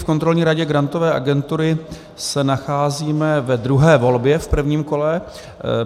V Kontrolní radě Grantové agentury se nacházíme ve druhé volbě v prvním kole.